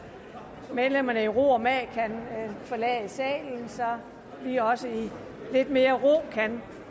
medlemmerne i ro og mag kan forlade salen så vi også i lidt mere ro kan